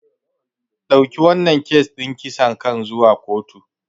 Dauki wannan kes din kisan kan zuwa kotu.